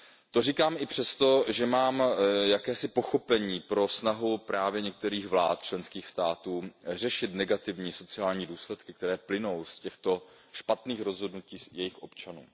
To říkám i přesto, že mám jakési pochopení pro snahu některých vlád členských států řešit negativní sociální důsledky, které plynou z těchto špatných rozhodnutí jejich občanů.